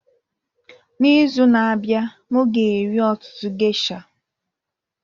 N'izu na-abịa, m ga-eri ọtụtụ geisha